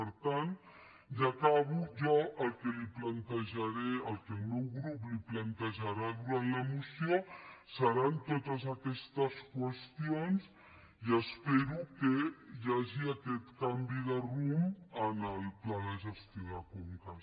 per tant ja acabo el que el meu grup li plantejarà durant la moció seran totes aquestes qüestions i espero que hi hagi aquest canvi de rumb en el pla de gestió de conques